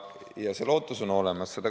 Ja lootus on olemas.